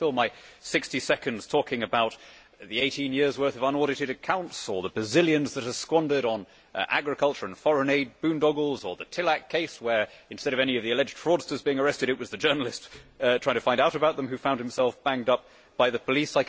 I could fill my 60 seconds talking about the 18 years' worth of unaudited accounts or the bazillions that are squandered on agriculture and foreign aid, boondoggles, or the Tillack case where, instead of any of the alleged fraudsters being arrested, it was the journalist trying to find out about them who found himself banged up by the police.